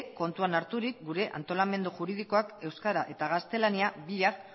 kontuan harturik gure antolamendu juridikoak euskara eta gaztelania biak